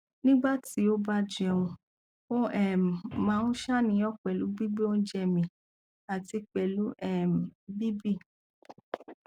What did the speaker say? nígbà tí ó bá jẹun ó um máa ń ṣàníyàn pẹlú gbigbe oje mi àti pẹlú um bibi